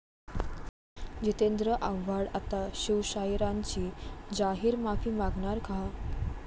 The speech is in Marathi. जितेंद्र आव्हाड आता शिवशाहिरांची जाहीर माफी मागणार का?